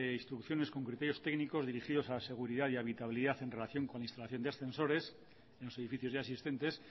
instrucciones con criterios técnicos dirigidos a la seguridad y habitabilidad en relación con instalación de ascensores en los edificios ya existentes